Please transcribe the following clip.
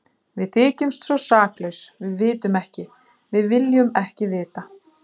Við þykjumst svo saklaus, við vitum ekki, við viljum ekki vita.